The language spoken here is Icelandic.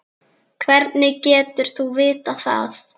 Hvernig getur þú vitað þetta?